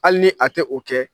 Hali ni a tɛ o kɛ